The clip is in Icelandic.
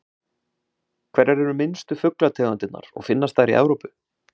Hverjar eru minnstu fuglategundirnar og finnast þær í Evrópu?